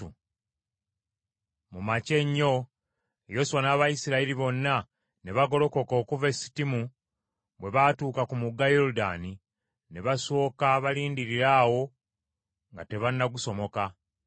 Mu makya ennyo Yoswa n’Abayisirayiri bonna ne bagolokoka okuva e Sittimu, bwe baatuuka ku mugga Yoludaani ne basooka balindirira awo nga tebannagusomoka.